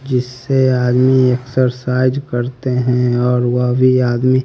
जिससे आदमी एक्सरसाइज करते हैं और वह भी आदमी--